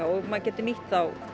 og maður getur nýtt þá